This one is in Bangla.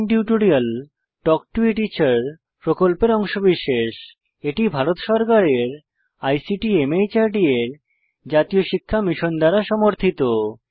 spoken tutorial talk to a teacher প্রকল্পের অংশবিশেষ এটি ভারত সরকারের আইসিটি মাহর্দ এর জাতীয় শিক্ষা মিশন দ্বারা সমর্থিত